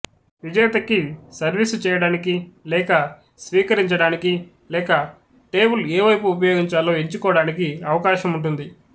విజేత కి సర్వీసు చేయడానికి లేక స్వీకరించడానికి లేక టేబుల్ ఏ వైపు ఉపయోగించాలో ఎంచుకోడానికి అవకాశం ఉంటుంది